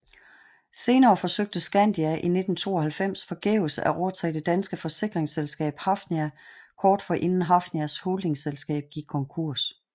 Senere forsøgte Skandia i 1992 forgæves at overtage det danske forsikringsselskab Hafnia kort forinden Hafnias holdingselskab gik konkurs